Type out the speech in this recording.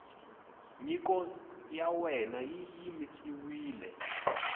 nyiko ya wena yi yimisiwile